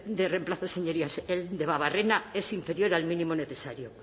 de reemplazo señorías en debabarrena es inferior al mínimo necesario